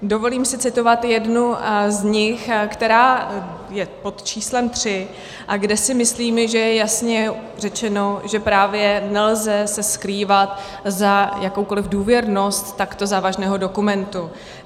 Dovolím si citovat jednu z nich, která je pod číslem 3 a kde si myslím, že je jasně řečeno, že právě nelze se skrývat za jakoukoliv důvěrnost takto závažného dokumentu.